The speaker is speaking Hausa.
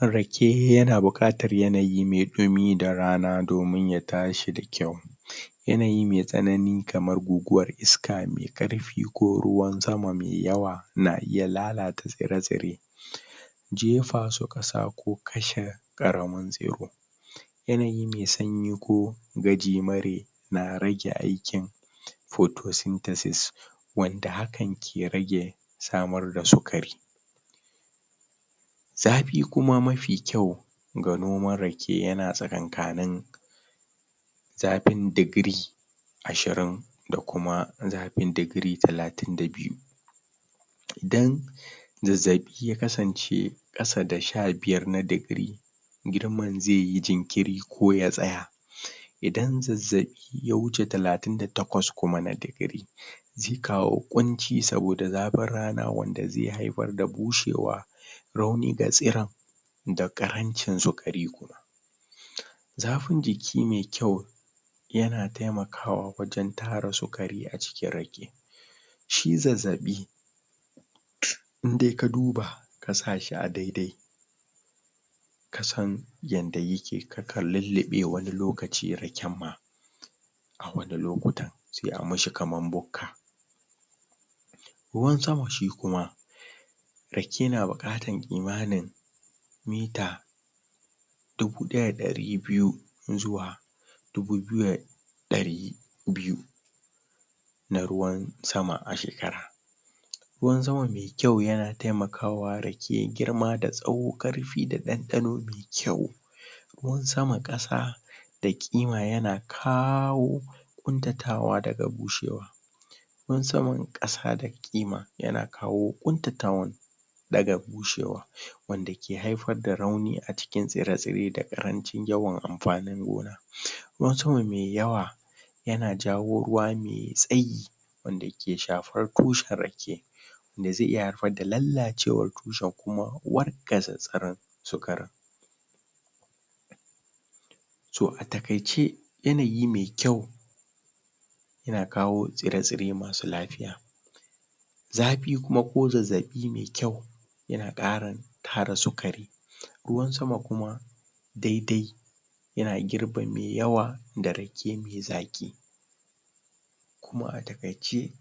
rake yana buƙatar yanayi me ɗumi da rana domin ya tashi da kyau yanayi me tsanani kamar guguwar iska me karfi ko ruwan sama me yawa na iya lalata tsire tsire jefasu ɗasa ko ka shef ɗaraman tsiro yanayi me sanyi ko gajimare na rage aikin photosynthesis wanda hakan ke rage samar da sukari zaɓi kuma mafi kyau ga noman rake yana tsakan kanun zapin degree ashirin da kuma zapin degree talatin da biyu dan zazzaɓi ya kasance ƙasa da sha biyar na degree girman zeyi jinkiri ko ya tsaya idan zazzaɓi ya wuce talatin da takwas kuma na degree ze kawo ƙunci saboda zafin rana wanda ze haifar da bushewa rauni ga tsiran da ƙarancin zuƙari zafin jiki me yau yana tema kawa wajan tara zuri acikin rake shi zazzaɓi indai ka duba ka sashi a dai dai yadda yike kakan lulluɓe wani lokaci raken ma wani lokuta sai amishi kaman bukka ruwan sama shi kuma rake na bukatan kimanin mitre dubu ɗaya da ɗari biyu zuwa dubu biyu ɗari biyu na ruwan sama ashekara ruwan sama kyau yana temakawa rake girma da tsawo, karfi da ɗanɗano kyau musamman ƙasa ƙuntatawa daga bushewa ƙuntatawa daga bushewa kumsam ƙasa da ƙima yana kawo ƙuntatawan daga bushewa wanda ke haifar da rauni acikin tsire tsire da ƙarancin yawan anfanin gona ruwan sama me yawa yana jawo ruwa me tsayi wanda yake shafar tushen rake da ze iya haifar da lallacewar tushen kuma wargaza tsiran sukar so atakaice yanayi me kyau yana kawo tsire tsire masu lafiya zafi kuma ko zazzabi me kyau yana ƙara tara sukari ruwan sama kuma dai dai yana girba me yawa darake me zaƙi to atakaice